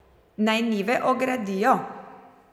Naj njive ogradijo?